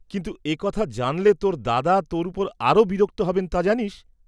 কিন্তু এ কথা জানলে তোর দাদা তোর উপর আরো বিরক্ত হবেন তা’ জানিস?